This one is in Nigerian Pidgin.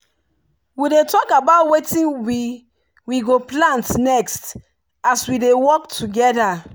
we dey talk about wetin we we go plant next as we dey work together.